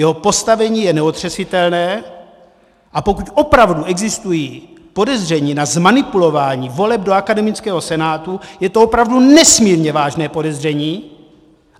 Jeho postavení je neotřesitelné, a pokud opravdu existují podezření na zmanipulování voleb do akademického senátu, je to opravdu nesmírně vážné podezření.